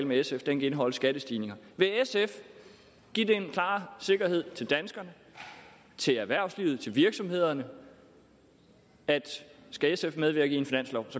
med sf kan indeholde skattestigninger vil sf give den klare sikkerhed til danskerne til erhvervslivet til virksomhederne at skal sf medvirke i en finanslov